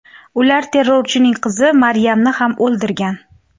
Ular terrorchining qizi Maryamni ham o‘ldirgan.